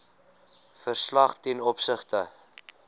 verslag ten opsigte